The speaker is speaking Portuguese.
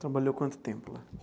Trabalhou quanto tempo lá?